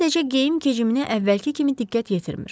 Sadəcə geyim-keciminə əvvəlki kimi diqqət yetirmir.